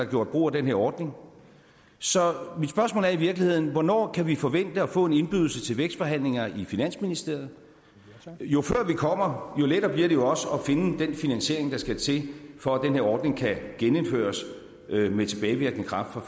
gjort brug af den her ordning så mit spørgsmål er i virkeligheden hvornår kan vi forvente at få en indbydelse til vækstforhandlinger i finansministeriet jo før vi kommer jo lettere bliver det også at finde den finansiering der skal til for at den her ordning kan genindføres med tilbagevirkende kraft fra